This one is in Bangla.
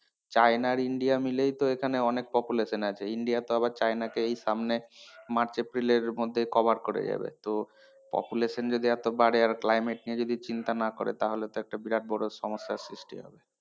চায়না আর ইন্ডিয়া মিলেই তো এখানে অনেক population আছে ইন্ডিয়া তো আবার চায়না কে এই সামনে march april এর মধ্যে cover করে যাবে তো population যদি এত বারে আর climate নিয়ে যদি চিন্তা না করে তাহলে তো একটা বিরাট বড় সমস্যার সৃষ্টি হবে।